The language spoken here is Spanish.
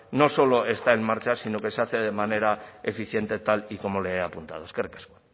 no solo está en marcha sino que se hace de manera eficiente tal y como le he apuntado eskerrik asko